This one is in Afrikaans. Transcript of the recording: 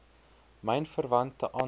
myn verwante aansoeke